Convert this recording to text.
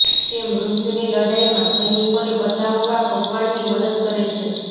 તે મૃત્યુની લડાઈમાં સૈનિકોને બચાવવા ભગવાનની મદદ કરે છે